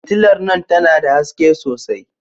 Fitilar nan tana da haske sosai.